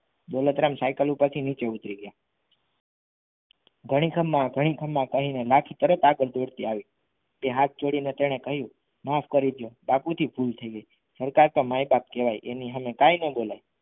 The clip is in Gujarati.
દોલતરામ સાયકલ ઉપર થી નીચે ઉતરી ગયા. ઘણી ખમ્મા ઘણી ખમ્મા કરીને નાખીને આગળ દોડતી તરત આવી તે હાથ જોડીને તેણે કહ્યું માફ કરી દો બાપુજી ભૂલ થઈ ગઈ સરકાર તો માય બાપ કહેવાય એની સામે કાઇ ન બોલાય.